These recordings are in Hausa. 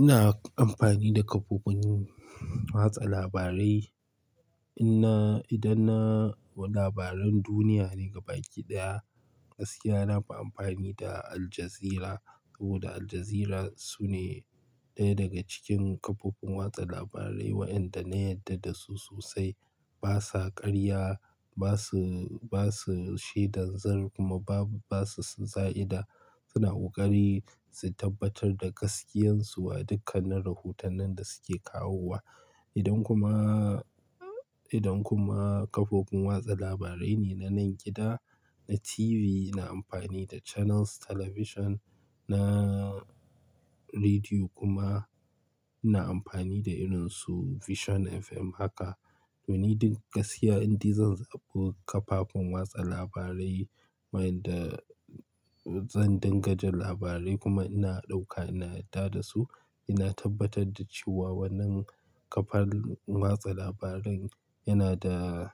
Ina amfani da kafofin watsa labarai. Ina-- idan na labaran duniya ne gaba ki ɗaya, gaskiya na fi amfani da Al Jazeera saboda Al Jazeera su ne ɗaya daga cikin kafofin watsa labarai waɗanda na yarda da su sosai. Ba sa ƙarya, ba su, ba su shaidan zur kuma ba su za'ida. Suna ƙoƙari su tabbatar da gaskiyarsu a dukkannin rahotannin da suke kawowa. Idan kuma, idan kuma kafofin watsa labarai ne na nan gida, na TV, ina amfani da Channels Television. Na rediyo kuma ina amfani da irinsu Vision FM. Haka doni duk gaskiya, indi zan zaɓi kafafin watsa labarai, wainda zan dinga jin labarai kuma ina ɗauka, ina yarda da su. Ina tabbatar da cewa wannan kafar watsa labaran yana da,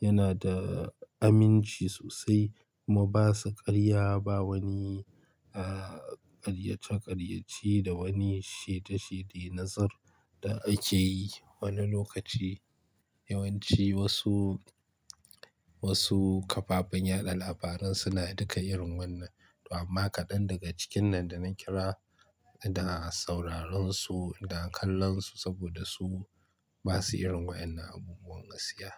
yana da aminci sosai kuma ba su ƙarya ba wani, ah, ƙaryace-ƙaryace da wani shaidashaide, nazur da ake yi wani lokaci. Yawanci wasu, wasu kafafen yaɗa labaran suna duka irin wannan. Amma kaɗan daga cikin nan da na kira da sauraron su da kallon su saboda su ba su irin waɗannan abubuwan gaskiya.